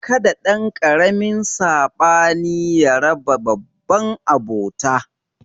Kada ɗankaramin sabani ya raba babban abota